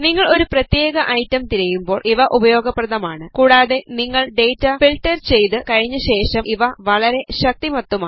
നിങ്ങൾ ഒരു പ്രത്യേക ഐറ്റം തിരയുമ്പോൾ ഇവ ഉപയോഗപ്രദമാണ് കൂടാതെ നിങ്ങൾ ഡേറ്റ ഫിൾട്ടർ ചെയ്തു കഴിഞ്ഞശേഷം ഇവ വളരെ ശക്തിമത്തുമാണ്